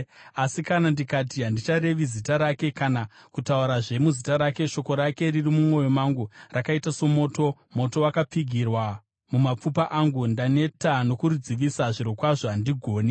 Asi kana ndikati, “Handicharevi zita rake, kana kutaurazve muzita rake,” shoko rake riri mumwoyo mangu rakaita somoto, moto wakapfigirwa mumapfupa angu. Ndaneta nokuridzivisa; zvirokwazvo, handigoni.